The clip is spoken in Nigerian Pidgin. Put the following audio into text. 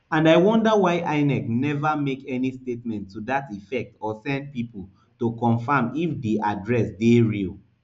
and i wonder why inec neva make any statement to dat effect or send pipo to confam if di address dey real